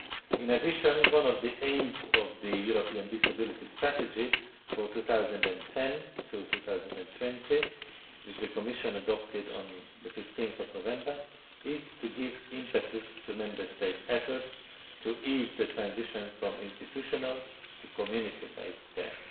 In addition, one of the aims of the European Disability Strategy for 2010 to 2020, which the Commission adopted on 15 November, is to give impetus to Member States' efforts to ease the transition from institutional to community based care.